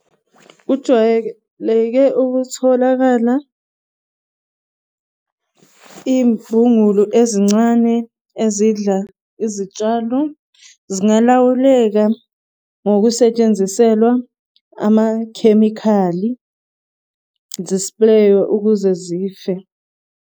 Kujwayeleke ukutholakala iy'mbungulu ezincane ezidla izitshalo zingalawuleka ngokusetshenziselwa amakhemikhali zispreywe ukuze zife.